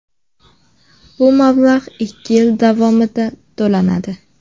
Bu mablag‘ ikki yil davomida to‘lanadi.